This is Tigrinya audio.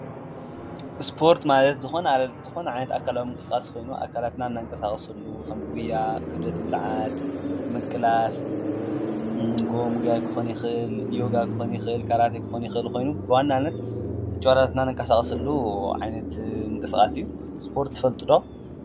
ስፖርት ማለት ዝኾን ዓይነት ኣካላዊ ምንቅስቃስ ኾይኑ ኣካላትናን እነንቀሳቕሰሉ ኸም ጕያ ፣ኽብደት ምልዓል፣ ምቅላስ ፣ጎቦ ምጉያይ ክኾን ይኽእል ፣ዮጋ ክኾን ይኽእል፣ ካራቴ ክኾን ይኽእል ኾይኑ ብዋናነት ጭዋዳታትና እነቀሳቕሰሉ ዓይነት ምቕስቓስ እዩ፡፡ ስፖርት ትፈልጡ ዶ?